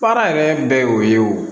Baara yɛrɛ bɛɛ ye o ye o